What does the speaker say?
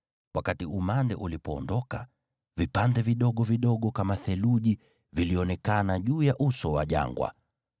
Wakati umande ulipoondoka, vipande vidogo vidogo kama theluji vilionekana juu ya uso wa jangwa.